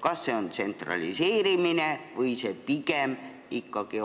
Kas see on tsentraliseerimine või see on pigem ikkagi